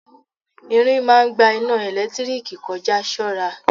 Irin ń máa ń gba iná ẹ̀lẹ́tíríkì kọ já, ṣọ́ra.